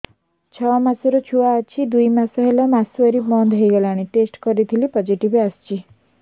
ଛଅ ମାସର ଛୁଆ ଅଛି ଦୁଇ ମାସ ହେଲା ମାସୁଆରି ବନ୍ଦ ହେଇଗଲାଣି ଟେଷ୍ଟ କରିଥିଲି ପୋଜିଟିଭ ଆସିଛି